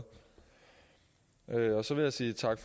og så vil jeg sige tak